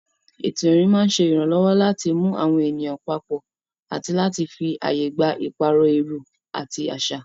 Ètò ìrìn máa ń ṣe ìrànlọ́wọ́ láti mú àwọn ènìyàn papọ̀ àti láti fi ààyè gba ìpààrọ̀ èrò àti àṣà.